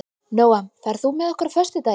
Nóam, ferð þú með okkur á föstudaginn?